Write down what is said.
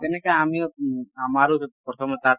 তেনেকে আমিও আমাৰো প্ৰথমে তাত